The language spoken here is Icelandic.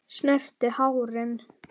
Já, Tengdi minn.